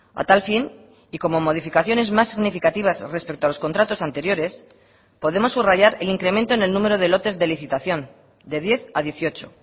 a tal fin y como modificaciones más significativas respecto a los contratos anteriores podemos subrayar el incremento en el número de lotes de licitación de diez a dieciocho